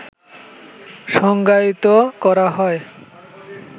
সংজ্ঞায়িত করা হয়